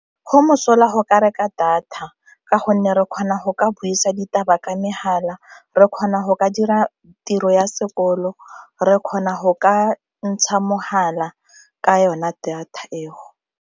Go mosola go ka reka data ka gonne re kgona go ka buisa ditaba ka megala, re kgona go ka dira tiro ya sekolo, re kgona go ka ntsha megala ka yona data eo.